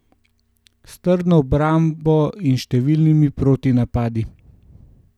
S trdno obrambo in številnimi protinapadi.